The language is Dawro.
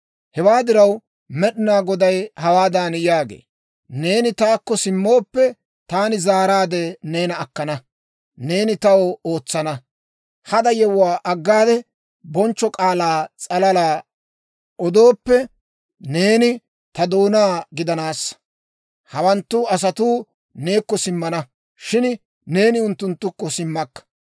Hewaa diraw, Med'inaa Goday hawaadan yaagee; «Neeni taakko simmooppe, taani zaaraadde neena akkana; neeni taw ootsana. Hada yewuwaa aggade, bonchcho k'aalaa s'alala odooppe, neeni ta doonaa gidanaassa. Hawanttu asatuu neekko simmana; shin neeni unttunttukko simmakka.